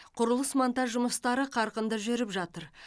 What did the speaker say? құрылыс монтаж жұмыстары қарқынды жүріп жатыр